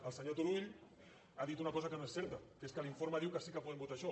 el senyor turull ha dit una cosa que no és certa que és que l’informe diu que sí que podem votar això